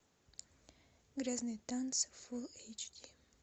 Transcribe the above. грязные танцы фул эйч ди